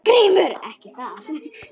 GRÍMUR: Ekki það?